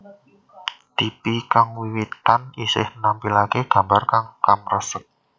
Tipi kang wiwitan isih nampilake gambar kang kemresek